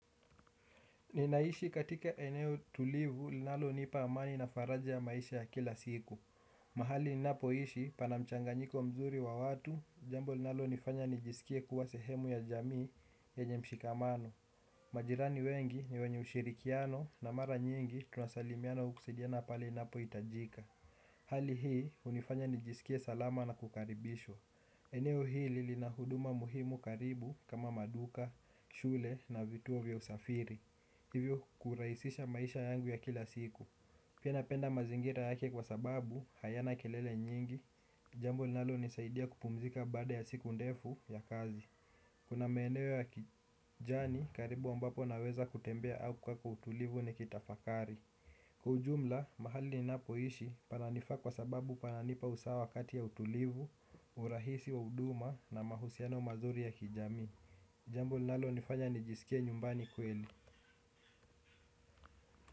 Ninaishi katika eneo tulivu, linalonipa amani na faraja ya maisha ya kila siku. Mahali ninapoishi, pana mchanganyiko mzuri wa watu, jambo linalonifanya nijisikie kuwa sehemu ya jamii yenye mshikamano. Majirani wengi ni wenye ushirikiano na mara nyingi tunasalimiana au kusidiana pale inapohitajika. Hali hii, hunifanya nijisikie salama na kukaribishwa. Eneo hili lina huduma muhimu karibu kama maduka, shule na vituo vya usafiri. Hivyo kurahisisha maisha yangu ya kila siku. Pia napenda mazingira yake kwa sababu, hayana kelele nyingi. Jambo linalonisaidia kupumzika baada ya siku ndefu ya kazi. Kuna maeneo ya kijani karibu ambapo naweza kutembea au kuwapa utulivu nikitafakari. Kwa ujumla, mahali ninapoishi pananifaa kwa sababu pananipa usawa wakati ya utulivu. Urahisi wa huduma na mahusiano mazuri ya kijamii. Jambo linalonifanya nijisikie nyumbani kweli.